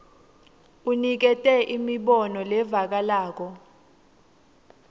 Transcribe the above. unikete imibono levakalako